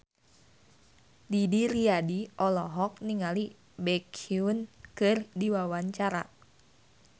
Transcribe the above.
Didi Riyadi olohok ningali Baekhyun keur diwawancara